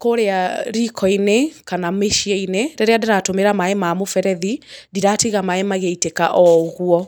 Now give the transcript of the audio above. kũũrĩa riko-inĩ kana mĩciĩ-inĩ rĩrĩa ndĩratũmĩra maaĩ ma mũberethi ndĩratiga maaĩ magĩitĩka oũguo.